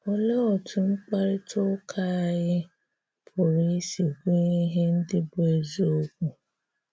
Òlee otú̀ mkparịta ụkà anyị pụrụ isi gụnye ihè ndị́ bụ́ ezìokwu?